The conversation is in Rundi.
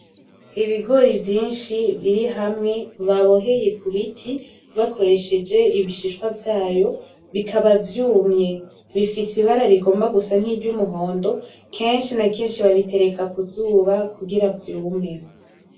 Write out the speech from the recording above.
Ibigori vyishi biri hamwe baboheye k'ubiti bakoresheje ibishishwa vyayo bikaba vyumwe ,Bifise ibara rigomba gusa nk’iryumuhondo keshi na keshi babitereka kuzuba kugira vyume.